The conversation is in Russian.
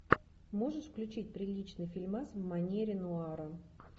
можешь включить приличный фильмас в манере нуара